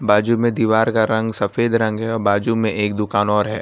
बाजू में दीवार का रंग सफेद रंग है और बाजू में एक दुकान और है।